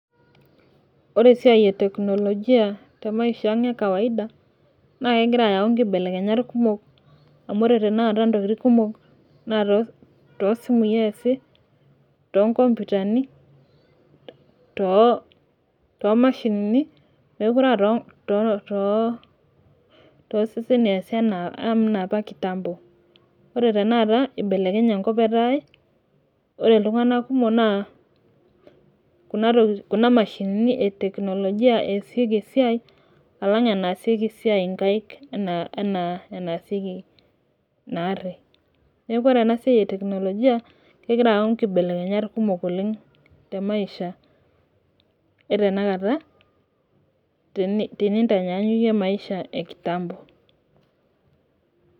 ore esiai eteknolojia naa too simui esi too nkompuitani , too mashinini , mookire aa too seseni eesi enaa apa kitambo, ore tenakata ibelekenye enkop etaa kuna mashinini etekinolojia esieki esiai alang' enasieki esiai inkaik enaa enasieki naari ,neeku ore esiai etekinolojia naa kegira ayau inkibelekenyat temaisha etenakata tinintanyanyukie enekitambo